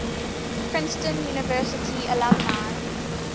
princeton university alumni